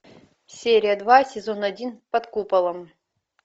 серия два сезон один под куполом